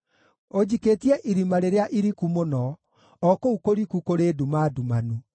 Ũnjikĩtie irima rĩrĩa iriku mũno, o kũu kũriku kũrĩ nduma ndumanu.